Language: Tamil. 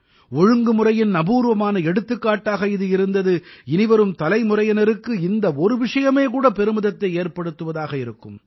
ஒழுங்குமுறையின் அபூர்வமான எடுத்துக்காட்டாக அது இருந்தது இனிவரும் தலைமுறையினருக்கு இந்த ஒரு விஷயமே கூட பெருமிதத்தை ஏற்படுத்துவதாக இருக்கும்